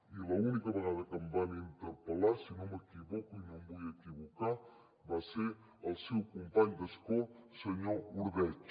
i l’única vegada que em van interpel·lar si no m’equivoco i no em vull equivocar va ser el seu company d’escó senyor ordeig